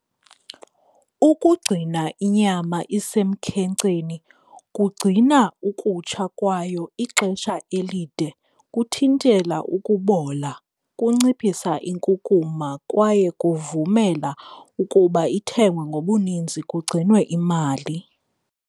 Ukugcina inyama isemkhenkceni kugcina ukutsha kwayo ixesha elide, kuthintela ukubola, kunciphisa inkukuma kwaye kuvumela ukuba ithengwe ngobuninzi kugcinwe imali.